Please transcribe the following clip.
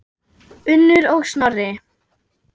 Unnur og Snorri.